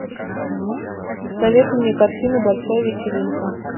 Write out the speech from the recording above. посоветуй мне картину большая вечеринка